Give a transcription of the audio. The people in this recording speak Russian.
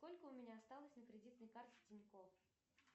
сколько у меня осталось на кредитной карте тинькофф